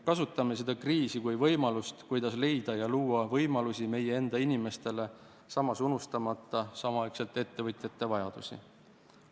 Kasutame seda kriisi kui võimalust, kuidas leida ja luua võimalusi meie enda inimestele, samas unustamata ettevõtjate vajadusi.